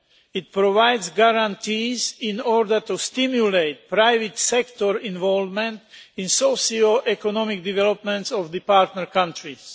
It provides guarantees in order to stimulate private sector involvement in the socio economic development of the partner countries.